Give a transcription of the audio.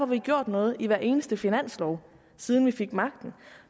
vi gjort noget i hver eneste finanslov siden vi fik magten og